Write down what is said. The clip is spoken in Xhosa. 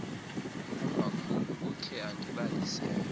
umakhulu ukhe andibalisele